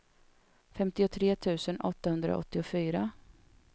femtiotre tusen åttahundraåttiofyra